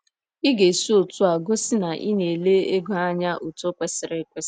Ị ga - esi otú a gosi na ị na - ele ego anya otú kwesịrị ekwesị.